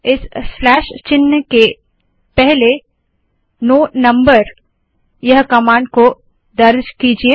इस स्लैश चिन्ह के पहले नो नंबर नो नम्बर यह कमांड को दर्ज कीजिये